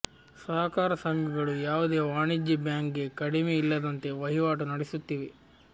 ಸಹಕಾರ ಸಂಘಗಳು ಯಾವುದೇ ವಾಣಿಜ್ಯ ಬ್ಯಾಂಕ್ಗೆ ಕಡಿಮೆ ಇಲ್ಲದಂತೆ ವಹಿವಾಟು ನಡೆಸುತ್ತಿವೆ